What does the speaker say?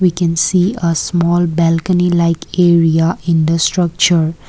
we can see a small balcony like area in the structure.